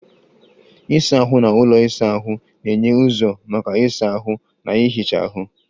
Ịsa ahụ na ụlọ isa ahụ na-enye ụzọ maka ịsa ahụ na ihicha ahụ.